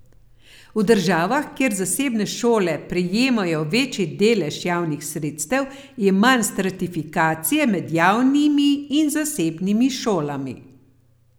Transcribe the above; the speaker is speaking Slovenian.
V državah, kjer zasebne šole prejemajo večji delež javnih sredstev, je manj stratifikacije med javnimi in zasebnimi šolami.